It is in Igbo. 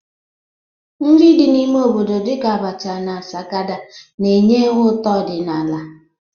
Nri dị n'ime obodo dịka abacha na sakada na-enye ụtọ ọdịnala.